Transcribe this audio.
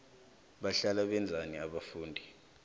bahlala benzani abafundi